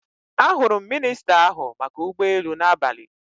Ahụrụ m minista n'ahụ maka ụgbọelu n'abalị.